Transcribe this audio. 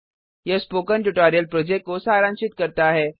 यह spoken tutorial project को सारांशित करता है